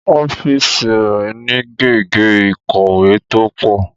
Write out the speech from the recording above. Ọ́fíìsì rẹ̀ ni gègé ìkọ̀wé tó pọ̀